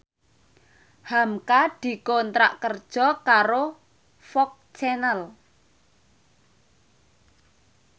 hamka dikontrak kerja karo FOX Channel